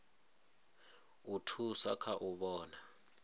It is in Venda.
u thusa kha u vhona